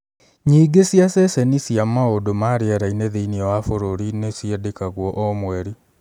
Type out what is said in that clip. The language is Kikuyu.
Nyingi͂ wa ceceni cia mau͂ndu͂ ma ri͂era-ini͂ thi͂ini͂ wa bu͂ru͂ri ni ciandekagwo o mweri.